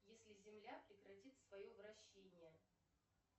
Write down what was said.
если земля прекратит свое вращение